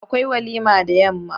Akwai walima da yamma.